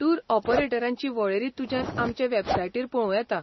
Tour ऑपरेटरांची वळेरी तुज्यान आमचे वॅबसायटीर पळोवं येता.